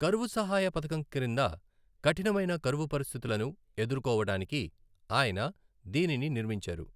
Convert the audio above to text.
కరువు సహాయ పథకం క్రింద కఠినమైన కరువు పరిస్థితులను ఎదుర్కోవడానికి ఆయన దీనిని నిర్మించారు.